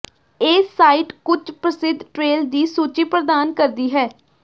ਇਹ ਸਾਈਟ ਕੁਝ ਪ੍ਰਸਿੱਧ ਟ੍ਰੇਲ ਦੀ ਸੂਚੀ ਪ੍ਰਦਾਨ ਕਰਦੀ ਹੈ